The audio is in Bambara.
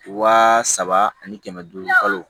Waa saba ani kɛmɛ duuru balo